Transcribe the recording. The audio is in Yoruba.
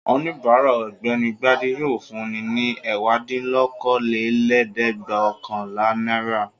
Oníbàárà Ọ̀gbẹ́ni Gbadé yóò fun ní ẹ̀wádínlókòólẹ́ẹ̀dẹ́gbẹ̀ọ̀kànlá náírà.